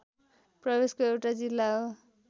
प्रदेशको एउटा जिल्ला हो